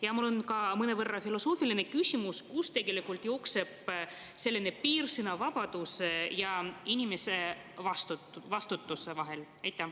Ja mul on ka mõnevõrra filosoofiline küsimus: kust jookseb piir sõnavabaduse ja inimese vastutuse vahel?